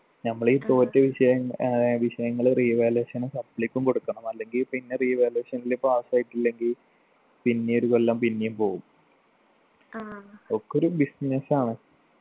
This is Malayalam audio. ഞമ്മളീ തോറ്റ വിഷയം ഏർ വിഷയങ്ങള് revaluation ഉം supply ക്കും കൊടുക്കണം അല്ലെങ്കി പിന്നെ revaluation ൽ pass ആയിട്ടില്ലെങ്കി പിന്നെയും ഒരു കൊല്ലം പിന്നിം പോവും ഒക്കൊരു business ആണ്